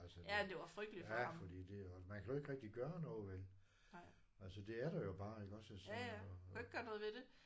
Altså det ja fordi det også man kan jo ikke rigtig gøre noget vel altså det er der jo bare iggås og så